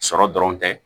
Sɔrɔ dɔrɔn tɛ